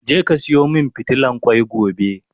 je ka Sayo min fitilan kwai gobe!